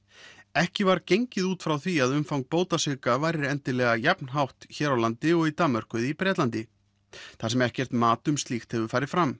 ekki var gengið út frá því að umfang bótasvika væri endilega jafnhátt hér á landi og í Danmörku eða í Bretlandi þar sem ekkert mat um slíkt hefur farið fram